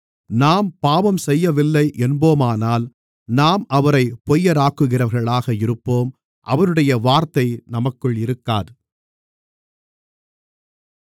நாம் பாவம் செய்யவில்லை என்போமானால் நாம் அவரைப் பொய்யராக்குகிறவர்களாக இருப்போம் அவருடைய வார்த்தை நமக்குள் இருக்காது